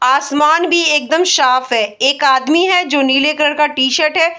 आसमान भी एकदम साफ है एक आदमी है जो नीले कलर का टी-शर्ट है।